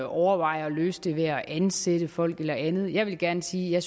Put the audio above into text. overveje at løse det ved at ansætte folk eller andet jeg vil gerne sige at